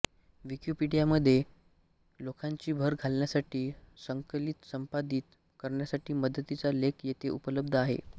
विकिपीडियामध्ये लेखांची भर घालण्यासाठी संकलितसंपादित करण्यासाठी मदतीचा लेख येथे उपलब्ध आहे